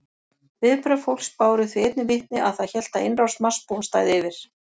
Viðbrögð fólks báru því einnig vitni að það hélt að innrás Marsbúa stæði yfir.